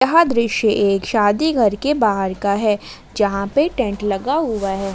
अ एक दृश्य शादी घर के बाहर का है जहां पे टेंट लगा हुआ है।